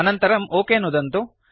अनन्तरं ओक नुदन्तु